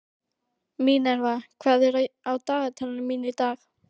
Minerva, hvað er á dagatalinu mínu í dag?